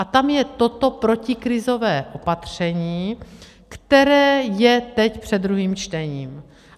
A tam je toto protikrizové opatření, které je teď před druhým čtením.